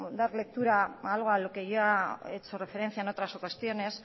dar lectura a algo a lo que ya he hecho referencia en otras ocasiones